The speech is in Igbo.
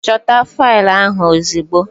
Chota fail ahụ ozugbo!